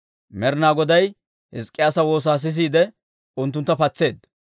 Med'inaa Goday Hizk'k'iyaasa woosaa sisiide, unttuntta patseedda.